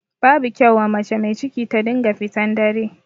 Babu kyau wa mace mai ciki ta dinga fitan dare.